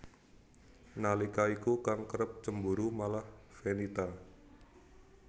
Nalika iku kang kerep cemburu malah Fenita